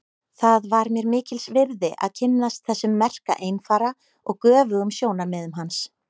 Það var mér mikils virði að kynnast þessum merka einfara og göfugum sjónarmiðum hans.